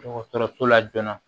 Dɔgɔtɔrɔso la joona